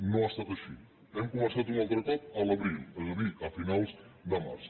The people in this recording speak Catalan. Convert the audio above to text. no ha estat així hem començat un altre cop a l’abril és a dir a finals de març